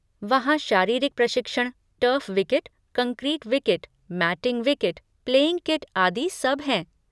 वहाँ शारीरिक प्रशिक्षण, turf wicket, concrete wicket, matting wicket, playing kit आदि सब हैं।